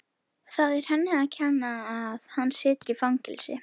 Það er henni að kenna að hann situr í fangelsi.